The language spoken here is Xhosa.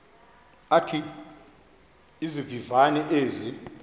athi izivivane ezi